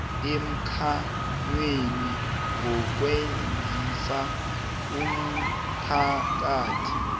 emkhanyweni ngokwazisa umphakathi